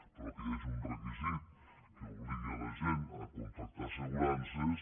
però que hi hagi un requisit que obligui la gent a contractar assegurances